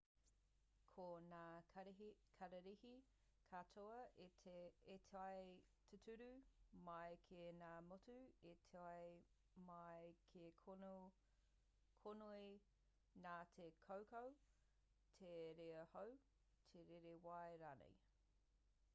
ko ngā kararehe katoa i tae tūturu mai ki ngā motu i tae mai ki konei nā te kaukau te rere hau te rere wai rānei